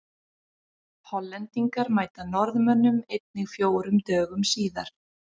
Hollendingar mæta Norðmönnum einnig fjórum dögum síðar.